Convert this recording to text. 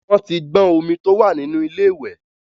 Wọ́n ti gbọ́n omi tó wà nínú ilé ìwẹ̀.